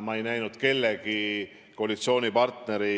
Ma ei näinud ühegi koalitsioonipartneri